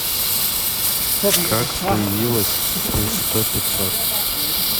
как появилось плюс сто пятьсот